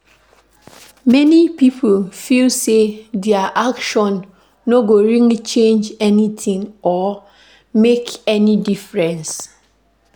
Many pipo feel sey their action no go really change anything or make any difference